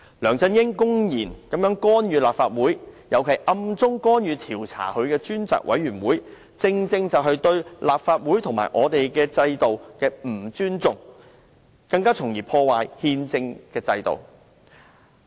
梁振英公然干預立法會，尤其是暗中干預正對他進行調查的專責委員會，正是對立法會及我們的制度的不尊重，甚至破壞了憲政的制度。